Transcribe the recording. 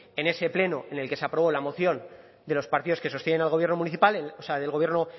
en ese pleno en el que se aprobó la moción de los partidos que sostienen al gobierno municipal o sea del gobierno